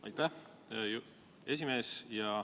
Aitäh, esimees!